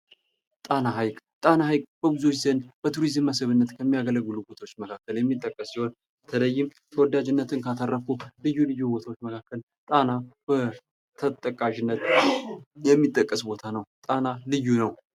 ጣና ሃይቅ፤ ጣና ሃይቅ በብዙዎች ዘንድ በቱሪዝም መስህብነት ከሚያገለግሉ ቦታዎች መካከል የሚጠቀስ ሲሆን በተለይም ተወዳጅነትን ካተረፉት ልዩ ልዩ ቦያዎች መካከል ጣና ተጠቃሽነት የሚጠቀስ ቦታ ነው። ጣና ልዩ ነው።